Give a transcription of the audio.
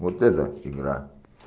вот это игра